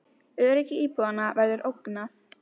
Öryggi íbúanna verður ógnað